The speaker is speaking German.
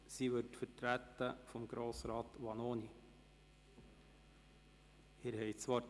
Sie wird durch Grossrat Vanoni vertreten.